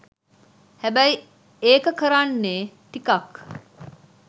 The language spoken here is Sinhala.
හැබැයි ඒක කරන්නේ ටිකක්